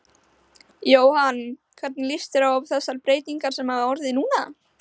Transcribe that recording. Jóhann: Hvernig lýst þér á þessar breytingar sem hafa orðið núna?